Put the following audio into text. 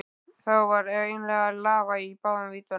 Þá varð ég eiginlega að lafa í báðum víddum.